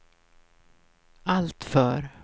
alltför